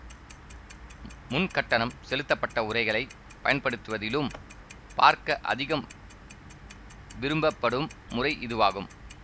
முன் கட்டணம் செலுத்தப்பட்ட உறைகளைப் பயன்படுத்துவதிலும் பார்க்க அதிகம் விரும்பப்படும் முறை இதுவாகும்